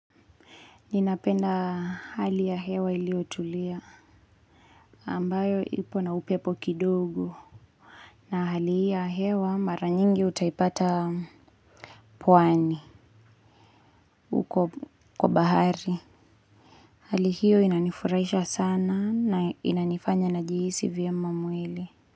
Ninapenda hali ya hewa iliyotulia ambayo ipo na upepo kidogo na hali hii ya hewa mara nyingi utaipata pwani huko kwa bahari. Hali hiyo inanifuraisha sana na inanifanya najihisi vyema mwili.